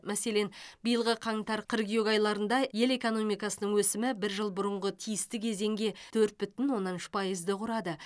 мәселен биылғы қаңтар қыркүйек айларында ел экономикасының өсімі бір жыл бұрынғы тиісті кезеңге төрт бүтін оннан үш пайызды құрады